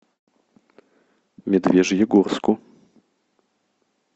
медвежьегорску